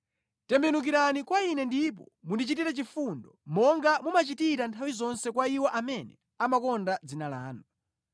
Tembenukirani kwa ine ndipo mundichitire chifundo, monga mumachitira nthawi zonse kwa iwo amene amakonda dzina lanu.